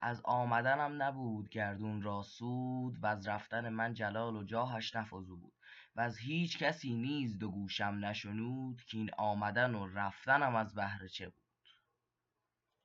از آمدنم نبود گردون را سود وز رفتن من جلال و جاهش نفزود وز هیچ کسی نیز دو گوشم نشنود کاین آمدن و رفتنم از بهر چه بود